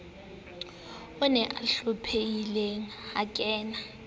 on o hlomphehileng ha kana